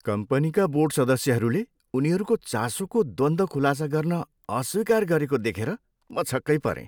कम्पनीका बोर्ड सदस्यहरूले उनीहरूको चासोको द्वन्द्व खुलासा गर्न अस्वीकार गरेको देखेर म छक्कै परेँ।